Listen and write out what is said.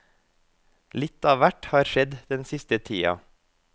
Litt av hvert har skjedd den siste tida.